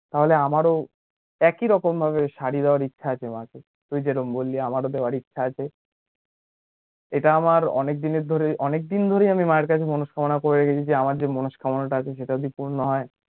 তাহলে আমারো একই রকম ভাবে সারি দেবার ইচ্ছা আছে মা কে তুই যেরকম বলি আমারো দেয়ার ইচ্ছা আছে ইটা আমার অনেক দিন ধরে অনেক দিন ধরে আমি মায়ের কাছে মনোকামনা করি যে আমার যে মনোকামনা যে টা আছে সেটা পূর্ণ হয়ে